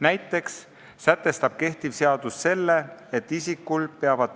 Näiteks sätestab kehtiv seadus, et